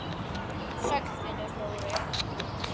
Sæll vinur, Dóri!